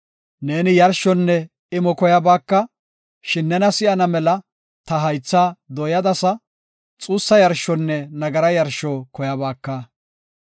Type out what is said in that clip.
Neeni yarshonne imo koyabaaka; shin nena si7ana mela ta haythaa dooyadasa; xuussa yarshonne nagara yarsho koyabaaka.